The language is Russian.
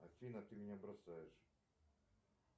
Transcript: афина ты меня бросаешь